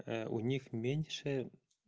у них меньше